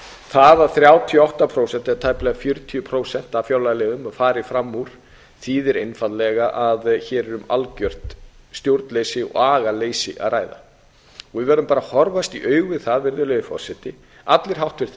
það að þrjátíu og átta prósent eða tæplega fjörutíu prósent af fjárlagaliðum fari fram úr þýðir einfaldlega að hér er um algjört stjórnleysi og agaleysi að ræða við verðum bara að horfast í augu við það virðulegi forseti allir háttvirtir